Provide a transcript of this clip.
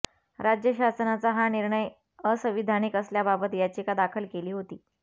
राज्य शासनाचा हा निर्णय असंविधानिक असल्याबाबत याचिका दाखल केली होती